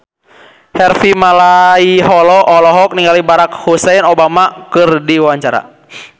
Harvey Malaiholo olohok ningali Barack Hussein Obama keur diwawancara